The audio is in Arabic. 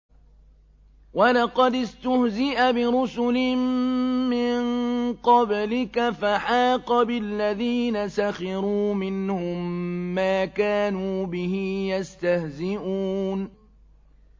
وَلَقَدِ اسْتُهْزِئَ بِرُسُلٍ مِّن قَبْلِكَ فَحَاقَ بِالَّذِينَ سَخِرُوا مِنْهُم مَّا كَانُوا بِهِ يَسْتَهْزِئُونَ